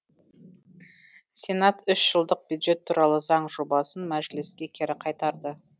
сенат үш жылдық бюджет туралы заң жобасын мәжіліске кері қайтарды